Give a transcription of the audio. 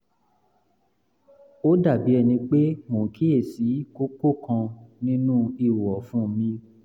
ó dàbí ẹni pé mò ń kíyèsí kókó kan nínú ihò ọ̀fun mi